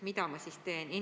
Mida ta siis teeb?